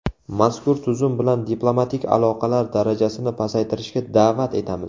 Mazkur tuzum bilan diplomatik aloqalar darajasini pasaytirishga da’vat etamiz.